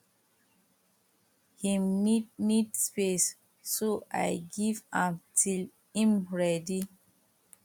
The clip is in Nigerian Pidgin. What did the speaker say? him need need space so i give am till him ready